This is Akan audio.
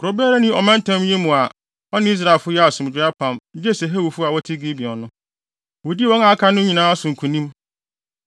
Kurow biara nni ɔmantam yi mu a ɔne Israelfo yɛɛ asomdwoe apam gye sɛ Hewifo a wɔte Gibeon no. Wodii wɔn a aka no nyinaa so nkonim.